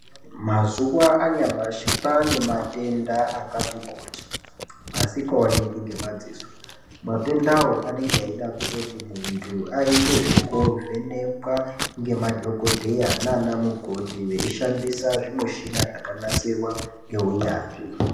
Mazuva anhamashi kwane matenda akati kuti asingaoneke nemadziso matendawo anenge eida kuti muntu aite zvikovhenekwa ngemadhogodheya nanamukoti weishandisa zvimushina zvakanasirwa neunyanzvi.